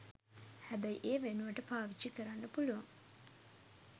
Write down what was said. හැබැයි ඒ වෙනුවට පාවිච්චි කරන්න පුළුවන්